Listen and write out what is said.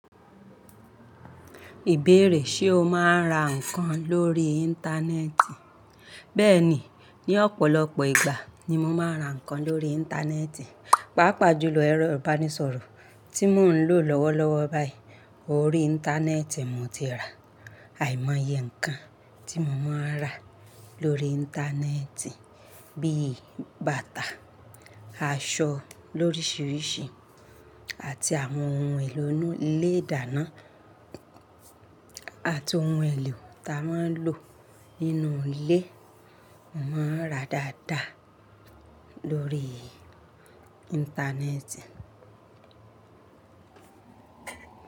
Ìbéèrè, ṣe o máa ń ra nǹkan lórí Íńtánẹ́ẹ̀tì? Bẹ́ẹ̀ni, ní ọ̀pọ̀lọpọ̀ ìgbà ni mo máa ń ra nǹkan lórí Íńtánẹ́ẹ̀tì, pàápàá jùlọ ẹ̀rọ ìbánisọ̀rọ̀ tí mò ń lò lọ́wọ́lọ́wọ́ báyìí. Orí Íńtánẹ́ẹ̀tì mo ti ra àìmọye nǹkan tí mo máa ń ra lórí Íńtánẹ́ẹ̀tì bí bàtà, aṣọ lórísìírísìí àti àwọn ohun èlò inú ilé ìdáná àti ohun èlò ta máa ń lò nínú ilé, mo máa ń ra dáadáa lórí Íńtánẹ́ẹ̀tì.